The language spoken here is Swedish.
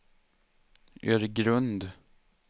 Öregrund